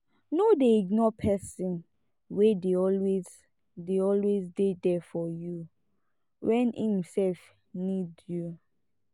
no dey ignore person wey dey always dey always dey there for you when im sef need you